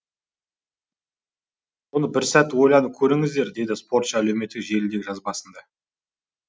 оны бір сәт ойланып көріңіздер деді спортшы әлеуметтік желідегі жазбасында